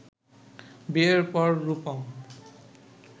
বিয়ের পর রুপম